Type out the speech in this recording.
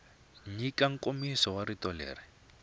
nyika nkomiso wa rito leri